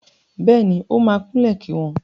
Bẹ́ẹ̀ni, ó máa kúnlẹ̀ kí wọn.